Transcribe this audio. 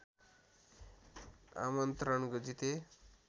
आमन्त्रण जिते